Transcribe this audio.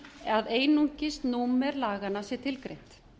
að einungis númer laganna sé tilgreint